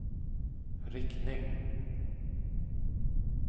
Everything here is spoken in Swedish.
riktning